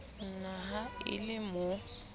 na ha e le mo